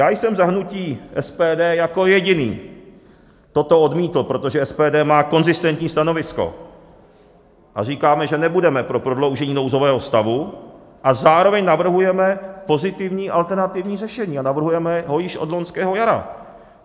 Já jsem za hnutí SPD jako jediný toto odmítl, protože SPD má konzistentní stanovisko a říkáme, že nebudeme pro prodloužení nouzového stavu, a zároveň navrhujeme pozitivní alternativní řešení a navrhujeme ho již od loňského jara.